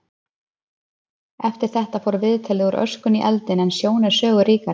Eftir þetta fór viðtalið úr öskunni í eldinn en sjón er sögu ríkari.